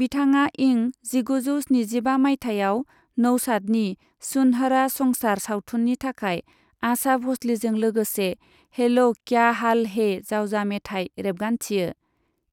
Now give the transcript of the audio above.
बिथाङा इं जिगुजौ स्निजिबा माइथायाव नउशादनि सुनहरा संसार सावथुननि थाखाय आशा भ'सलेजों लोगोसे हैलो क्या हाल है जावजा मेथाइ रेबगान्थियो,